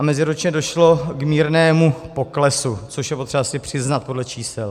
A meziročně došlo k mírnému poklesu, což je potřeba si přiznat podle čísel.